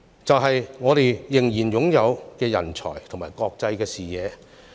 便是我們仍然擁有的人才和國際視野。